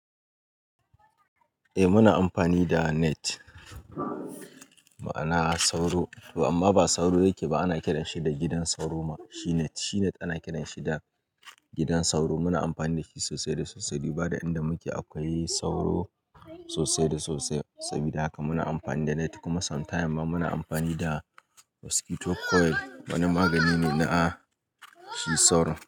Eh muna amfani da net ma'ana sauro, amma ba sauro yake ba ana kiranshi da gidan sauro ma shi net, shi net, ana kiranshi da gidan sauro muna amfani dashi sosai da sosai. Duba da inda muke akwai sauro sosai da sosai sabida haka muna amfani da net kuma sometimes ma muna amfani da mosquito coil wani magani ne na a shi sauron.